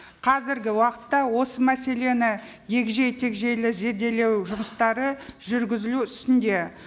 қазіргі уақытта осы мәселені егжей тегжейлі зерделеу жұмыстары жүргізілу үстінде